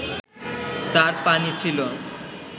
তার পানি ছিল